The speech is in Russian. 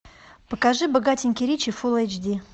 покажи богатенький ричи фулл эйч ди